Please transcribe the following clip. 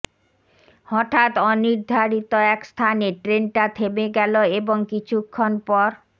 হঠাৎ অনির্ধারিত এক স্থানে ট্রেনটা থেমে গেল এবং কিছুক্ষণ পর